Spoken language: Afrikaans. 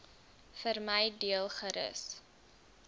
vermy deel gerus